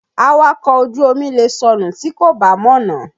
Awakọ̀ ojú omi lè sọnù tí kò bá mọ̀nà.